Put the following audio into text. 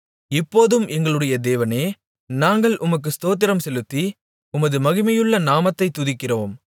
இப்போதும் எங்களுடைய தேவனே நாங்கள் உமக்கு ஸ்தோத்திரம் செலுத்தி உமது மகிமையுள்ள நாமத்தைத் துதிக்கிறோம்